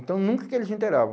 Então nunca que eles inteiravam.